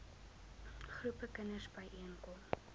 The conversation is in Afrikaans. groepe kinders byeenkom